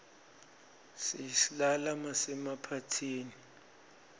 siyislala masemaphathini